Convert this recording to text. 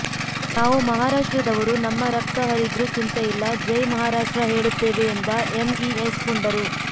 ನಾವು ಮಹಾರಾಷ್ಟ್ರದವರು ನಮ್ಮ ರಕ್ತ ಹರಿದ್ರು ಚಿಂತೆಯಿಲ್ಲ ಜೈ ಮಹಾರಾಷ್ಟ್ರ ಹೇಳುತ್ತೆವೆ ಎಂದ ಎಂಇಎಸ್ ಪುಂಡರು